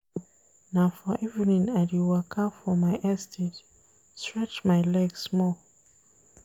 Na for evening I dey waka for my estate, stretch my leg small.